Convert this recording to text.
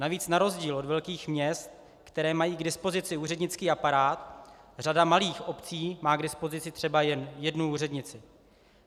Navíc na rozdíl od velkých měst, která mají k dispozici úřednický aparát, řada malých obcí má k dispozici třeba jen jednu úřednici.